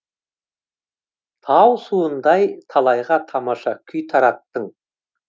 тау суындай талайға тамаша күй тараттың